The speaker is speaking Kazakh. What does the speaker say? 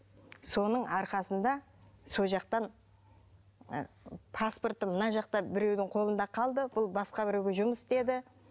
соның арқасында сол жақтан паспорты мына жақта біреудің қолында қалды бұл басқа біреуге жұмыс істеді